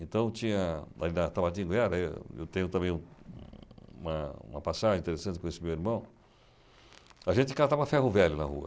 Então tinha, ali na Tabardinha Guiara, eu eu tenho também um uma passagem interessante com esse meu irmão, a gente catava ferro-velho na rua.